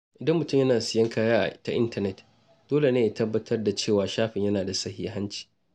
Idan mutum yana siyan kaya ta intanet, dole ne ya tabbatar da cewa shafin yana da sahihanci.